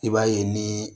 I b'a ye ni